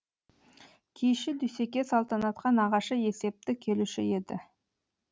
киізші дүйсеке салтанатқа нағашы есепті келуші еді